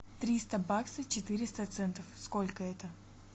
триста баксов четыреста центов сколько это